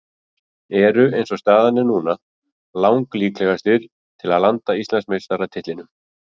Eru eins og staðan er núna lang líklegastir til að landa Íslandsmeistaratitlinum.